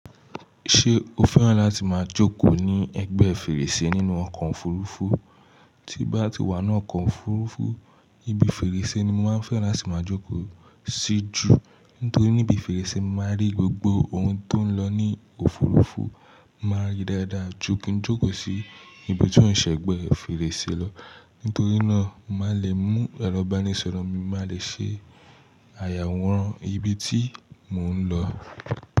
Ṣé o fẹ́ràn láti máa jókòó ní ẹ̀gbẹ́ fèrèsé nínú ọkọ̀ òfurufú? Tí bá ti wà nínú ọkọ̀ òfurufú, ibi fèrèsé ni mo máa ń fẹ́ láti máa jókòó sí jù. Nítorí níbi fèrèsé, mo máa rí gbogbo ohun tó ń lọ ní òfurufú, màá rí dáadáa ju kin jókòó sí ibi tó ń ṣẹ̀gbẹ́ fèrèsé lọ. Nítorí náà, màá le mú ìràǹbànísọ̀rọ̀ mi, màá de ṣe àyàwòrán ibi tí mò ń lọ.